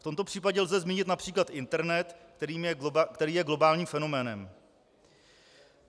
V tomto případě lze zmínit například internet, který je globálním fenoménem.